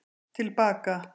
Til baka